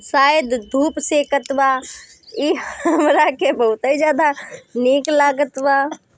सायद धुप सेकत वा इ बोला के बहोत ही ज्यादा नेक लागत वा।